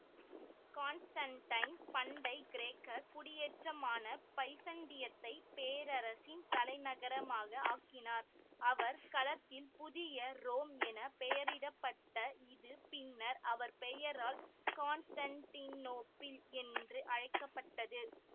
Constantine பண்டை கிரேக்க குடியேற்றமான பைசன்டியத்தை பேரரசின் தலைநகரமாக ஆக்கினார்அவர் களத்தில் புதிய ரோம் என பெயரிட பட்ட இது பின்னர் அவர் பெயரால் கான்ஸ்டன்டினோப்பிள் என்று அழைக்க பட்டது